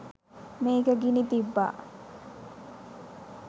මේක ගිනි තිබ්බා.